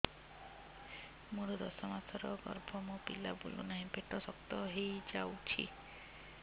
ମୋର ଦଶ ମାସର ଗର୍ଭ ମୋ ପିଲା ବୁଲୁ ନାହିଁ ପେଟ ଶକ୍ତ ହେଇଯାଉଛି